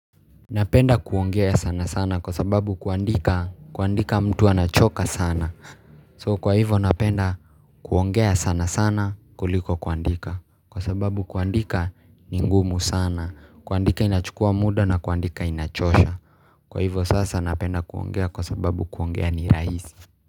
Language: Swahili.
Napenda kuongea sana sana kwa sababu kuandika mtu anachoka sana So kwa hivyo napenda kuongea sana sana kuliko kuandika, kwa sababu kuandika ni ngumu sana. Kuandika inachukua muda na kuandika inachosha. Kwa hivyo sasa napenda kuongea kwa sababu kuongea ni rahisi.